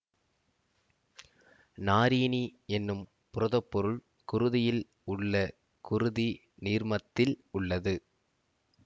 நாரீனி என்னும் புரதப்பொருள் குருதியில் உள்ள குருதி நீர்மத்தில் உள்ளது